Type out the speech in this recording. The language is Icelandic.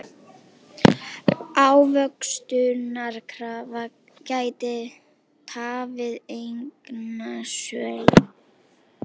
Ávöxtunarkrafa gæti tafið eignasölu